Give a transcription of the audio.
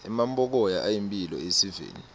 emampokoya ayimphilo esiveni